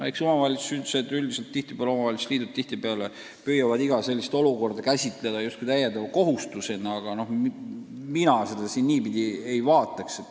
Eks omavalitsused üldiselt, ka omavalitsuste liidud tihtipeale püüavad iga sellist muudatust käsitada täiendava kohustusena, aga mina seda niipidi ei vaataks.